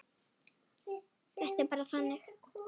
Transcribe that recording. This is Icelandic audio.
Þetta er bara þannig.